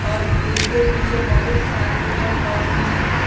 और उसके पीछे बहुत सारे पेड़ पौधे हैं।